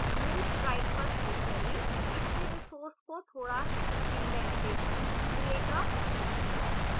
move right पर click करें इससे resource को थोड़ा इन्डेन्टेशन मिलेगा